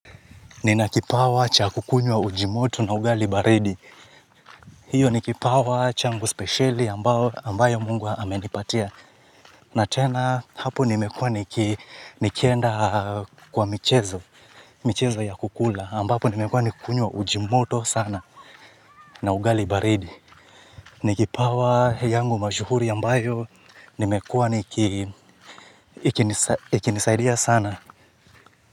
Ninakipawa cha kukunywa uji moto na ugali baridi. Hiyo ni kipawa changu speciali ambayo mungu amenipatia. Na tena hapo nimekuwa nikienda kwa michezo ya kukula ambapo nimekuwa nikukunywa uji moto sana na ugali baridi. Nikipawa yangu mashuhuri ambayo nimekuwa ikinisaidia sana.